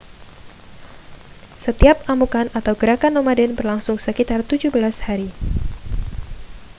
setiap amukan atau gerakan nomaden berlangsung sekitar 17 hari